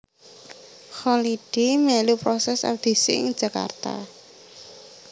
Kholidi melu proses audisi ing Jakarta